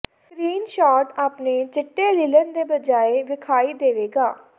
screen shot ਆਪਣੇ ਚਿੱਟੇ linen ਦੀ ਬਜਾਏ ਵੇਖਾਈ ਦੇਵੇਗਾ